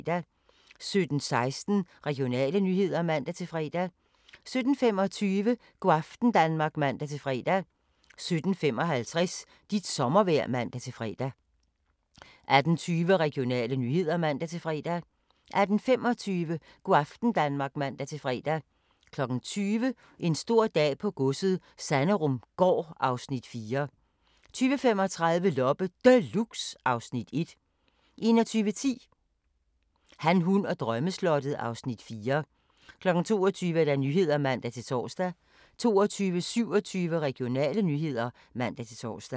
17:16: Regionale nyheder (man-fre) 17:25: Go' aften Danmark (man-fre) 17:55: Dit sommervejr (man-fre) 18:20: Regionale nyheder (man-fre) 18:25: Go' aften Danmark (man-fre) 20:00: En stor dag på godset - Sanderumgaard (Afs. 4) 20:35: Loppe Deluxe (Afs. 1) 21:10: Han, hun og drømmeslottet (Afs. 4) 22:00: Nyhederne (man-tor) 22:27: Regionale nyheder (man-tor)